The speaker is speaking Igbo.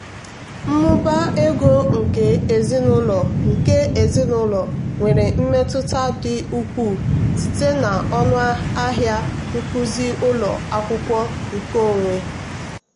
mmụba ego nke ezinụlọ nke ezinụlọ nwere mmetụta dị ukwuu site na ọnụ ahịa nkuzi ụlọ akwụkwọ nkeonwe.